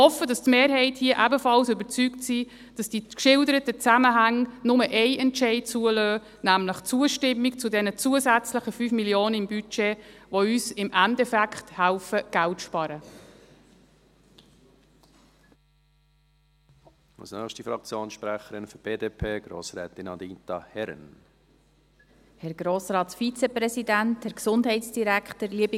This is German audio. Ich hoffe, dass die Mehrheit hier ebenfalls davon überzeugt ist, dass die geschilderten Zusammenhänge nur einen Entscheid zulassen – nämlich Zustimmung zu den zusätzlichen 5 Mio. Franken im Budget, die uns im Endeffekt Geld zu sparen helfen.